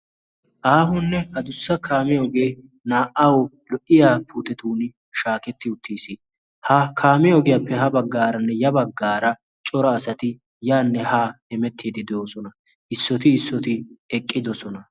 aahunne a dussa kaamiyoogee naa'awu lo'iya putetun shaaketti uttiis. ha kaamiyoogiyaappe ha baggaaranne ya baggaara cora asati yaanne ha emettiidi de'oosona. issooti issooti eqqidosona.